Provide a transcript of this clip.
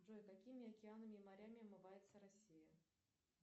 джой какими океанами и морями омывается россия